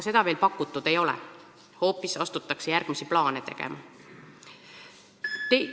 Seda aga veel pakutud ei ole, hoopis asutakse järgmisi plaane tegema.